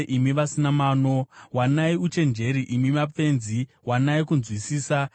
Imi vasina mano, wanai uchenjeri; imi mapenzi, wanai kunzwisisa.